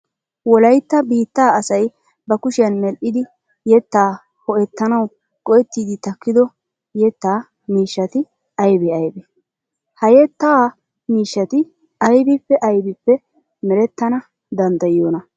Wolaytta biittaa asay ba kushiyan medhdhidi yettaa ho"ettanawu go"ettiiddi takkido yettaa miishshati aybee aybee? Ha yettaa miishshati aybippe aybippe merettana danddayiyoonaa?